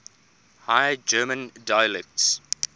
high german dialects